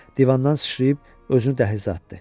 Divandan sıçrayıb özünü dəhlizə atdı.